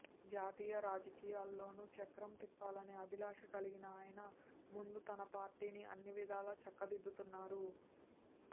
జాతీయ రాజకీయాల్లోనూ చక్రం తిప్పాలనే అభిలాష కలిగిన ఆయన ముందు తన పార్టీని అన్ని విధాలా చక్కదిద్దుతున్నారు